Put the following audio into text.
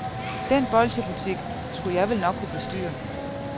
Den bolchebutik skulle jeg vel nok kunne bestyre.